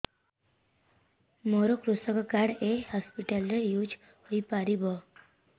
ମୋର କୃଷକ କାର୍ଡ ଏ ହସପିଟାଲ ରେ ୟୁଜ଼ ହୋଇପାରିବ